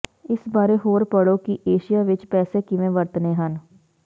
ਇਸ ਬਾਰੇ ਹੋਰ ਪੜ੍ਹੋ ਕਿ ਏਸ਼ੀਆ ਵਿਚ ਪੈਸੇ ਕਿਵੇਂ ਵਰਤਣੇ ਹਨ